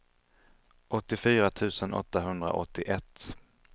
åttiofyra tusen åttahundraåttioett